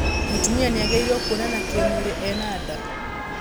Mũtumia niagĩrĩiruo kuonana kĩ mwĩrĩ ena nda?